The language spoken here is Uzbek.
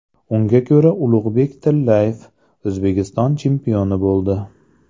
Unga ko‘ra, Ulug‘bek Tillayev O‘zbekiston chempioni bo‘ldi.